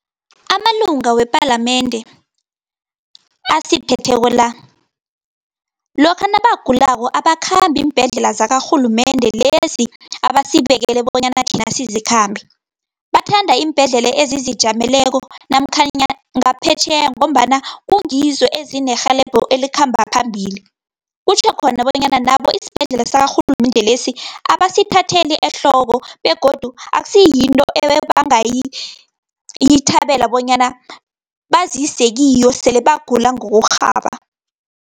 Amalunga wepalamende, asiphetheko la, lokha nabagulako abakhambi iimbhedlela zakarhulumende lezi abasibekele bonyana thina sizikhambe. Bathanda iimbhedlela ezizijameleko namkhanyana ngaphetjheya, ngombana kungizo ezinerhelebho elikhamba phambili. Kutjho khona bonyana nabo isibhedlela sakarhulumende lesi, abasithatheli ehloko, begodu akusi yinto ebangayithabela bonyana bazise kiyo sele bagula ngokorhaba.